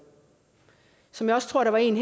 som jeg også tror der var en